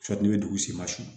n'i bɛ dugu sen masini